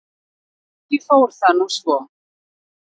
Ekki fór það nú svo.